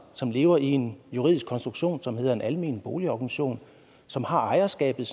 som lever i en juridisk konstruktion som hedder en almen boligorganisation som har ejerskabet